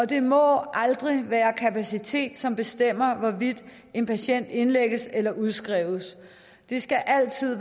det må aldrig være kapacitet som bestemmer hvorvidt en patient indlægges eller udskrives det skal altid